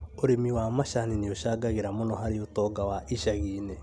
ũrĩmi wa macani nĩũcangagĩra mũno harĩ ũtonga wa icagi-inĩ